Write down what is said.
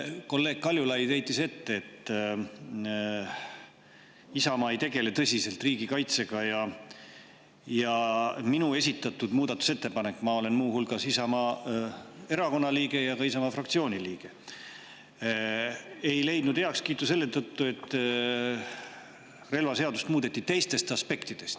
Kolleeg Kaljulaid heitis ette, et Isamaa ei tegele tõsiselt riigikaitsega minu esitatud muudatusettepanek – ma olen muu hulgas Isamaa Erakonna liige ja Isamaa fraktsiooni liige – ei leidnud heakskiitu selle tõttu, et relvaseadust muudeti teistes aspektides.